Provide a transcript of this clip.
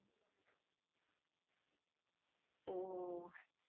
উহ ।